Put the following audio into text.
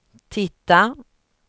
titta